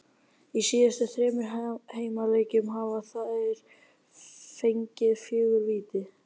Í síðustu þremur heimaleikjum hafa þeir fengið fjögur víti.